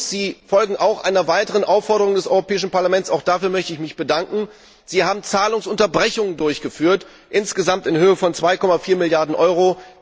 Sie folgen auch einer weiteren Aufforderung des Europäischen Parlaments, auch dafür möchte ich mich bedanken Sie haben Zahlungsunterbrechungen durchgeführt, insgesamt in Höhe von 2,4 Milliarden Euro.